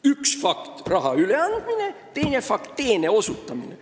Üks fakt on raha üleandmine ja teine fakt on teene osutamine.